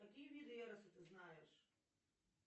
какие виды эроса ты знаешь